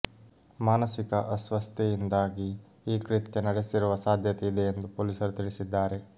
ಮಾನಸಿಕ ಅಸ್ವಸ್ಥತೆಯಿಂದಾಗಿ ಈ ಕೃತ್ಯ ನಡೆಸಿರುವ ಸಾಧ್ಯತೆ ಇದೆ ಎಂದು ಪೊಲೀಸರು ತಿಳಿಸಿದ್ದಾರೆ